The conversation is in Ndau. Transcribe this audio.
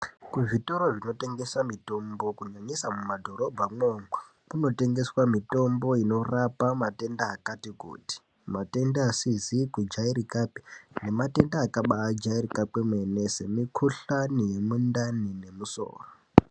Kuzvitoro zvinotengesa mutombo kunyanyisa mumadhorobhamwo umwo kunotengeswa mutombo inorapa matenda akati kuti matenda asizi kudyairikapi nematenda akabajairika kwemene nemukuhlani nemundani nemusoro.